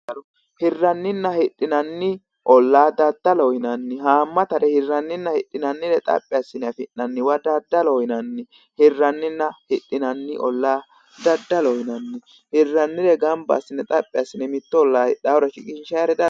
Daddallo, hiraninna hidhinanni oolla daddaloho yinnanni haamattare hiraninna hidhinanni xaphi assine afi'naniwa daddalloho yinnanni, hirraninna hidhinanni oolla daddalloho yinanni, hirranire xaphi assine mitto oolla shiqinshanire.